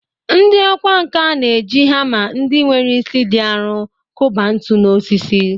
Ndị ọkwá nkà na-eji hama ndị nwere isi dị arọ kụba ntu n’osisi.